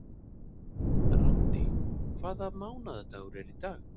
Randý, hvaða mánaðardagur er í dag?